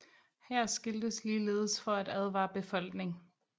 Her skiltes ligeledes for at advare befolkning